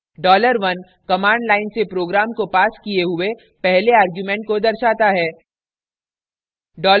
dollar 1 command line से program को passed किये हुए पहले argument को दर्शाता है